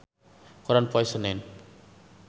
Ben Affleck aya dina koran poe Senen